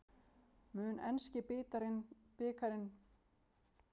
Mun enski bikarinn breyta lífi þínu, félaginu þínu?